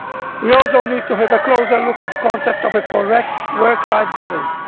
We also need to take a closer look at the concept of a correct work life balance.